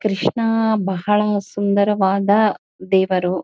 ಕೃಷ್ಣಾ ಬಹಳ ಸುಂದರವಾದ ದೇವರು.